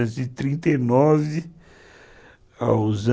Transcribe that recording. e trinta e nove